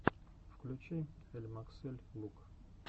включи эльмаксэль лук